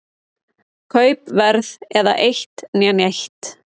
Kaupverð eða eitt né neitt.